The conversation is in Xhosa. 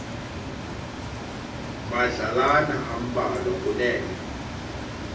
madlalana ambalwa kunene